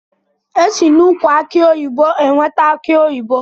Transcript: Esi na ụkwụ akụ oyibo enweta akụ oyibo.